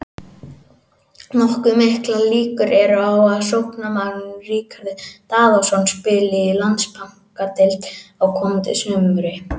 Nokkuð miklar líkur eru á að sóknarmaðurinn Ríkharður Daðason spili í Landsbankadeildinni á komandi sumri.